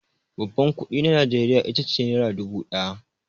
Babban kuɗi na Najeriya ita ce nera dubu ɗaya.